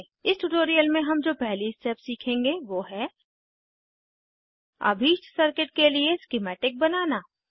इस ट्यूटोरियल में हम जो पहली स्टेप सीखेंगे वो है अभीष्ट सर्किट के लिए स्किमैटिक बनाना